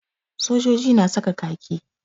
Sojoji na saka kaki.